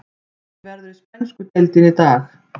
Leikið verður í spænsku deildinni í dag.